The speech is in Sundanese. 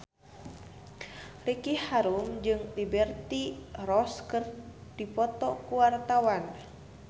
Ricky Harun jeung Liberty Ross keur dipoto ku wartawan